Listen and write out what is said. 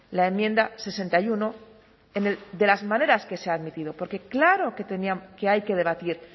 la enmienda sesenta y uno de las maneras que se ha admitido porque claro que hay que debatir